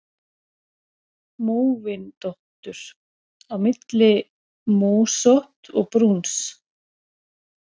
Móvindóttur: Á milli mósótts og brúns.